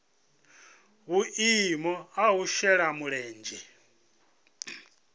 vhuimo ha u shela mulenzhe